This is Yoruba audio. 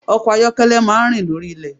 Ọkọ̀ ayọ́kẹ́lẹ́ máa rìn lórí ilẹ̀.